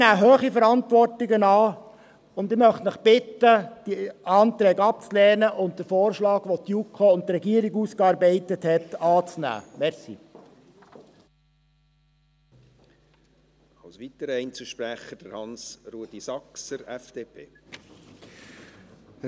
Sie nehmen hohe Verantwortungen an, und ich möchte Sie bitten, die Anträge abzulehnen und den Vorschlag, den die JuKo und die Regierung ausgearbeitet haben, anzunehmen, danke.